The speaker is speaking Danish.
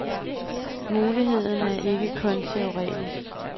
Muligheden er ikke kun teoretisk.